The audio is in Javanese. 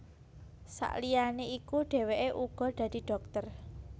Sakliyané iku dhèwèké uga dadi dhokter